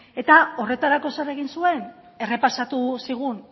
eta horretarako zer egin zuen errepasatu zigun